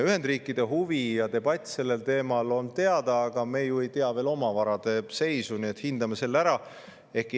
Ühendriikide huvi ja debatt sellel teemal on teada, aga me ju ei tea veel oma varade seisu, nii et hindame selle ära.